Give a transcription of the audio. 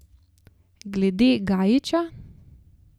Glede Gajića?